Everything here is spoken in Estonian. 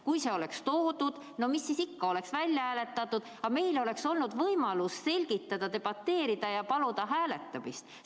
Kui see oleks üle toodud ja välja hääletatud, no mis siis ikka, aga meil oleks olnud võimalus selgitada, debateerida ja paluda hääletamist.